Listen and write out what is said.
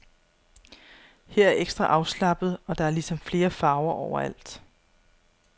Her er ekstra afslappet og der er ligesom flere farver overalt.